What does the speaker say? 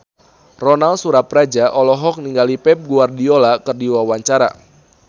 Ronal Surapradja olohok ningali Pep Guardiola keur diwawancara